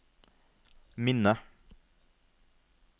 minne